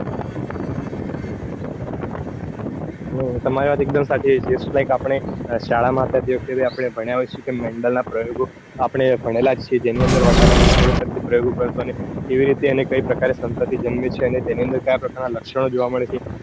ઓહ્હ તમારી વાત એક્દમ સાચી છે. just like આપણે શાળા માં હતા તે વખતે ભણ્યા હોય છીએ કે mendal ના પ્રયોગો આપણે ભણેલા જ છીએ. જેની અંદર વર્ષ ની છોડ પર થી પ્રયોગો કરતા. અને તેવી રીતે અને કઈ પ્રકારે જન્મે છે. અને તેની અંદર ક્યાં પ્રકાર ના લક્ષણો જોવા મળે છે.